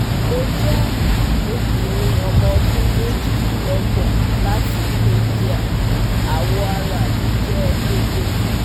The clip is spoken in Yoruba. Mo jẹ obinrin ọmọ ọdun mejidinlogbon lati India, awọ ara mi jẹ deede